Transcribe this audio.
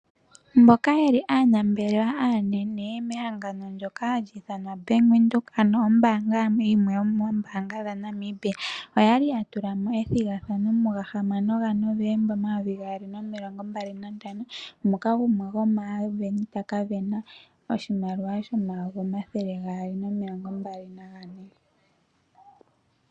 Mboka yeli aanambelewa aanene mehangano ndyoka hali ithanwa Bank Windhoek, ano ombaanga yimwe yomeembanga dhaNamibia oyali ya tulamo ethigathano muga hamano gaNovemba omayovi gaali nomilongo mbali nantano, moka gumwe gomaasindani taka sindana oshimaliwa shomayovi omathele gaali nomilongo mbali naga ne.